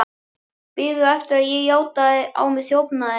Biðu eftir að ég játaði á mig þjófnaðinn.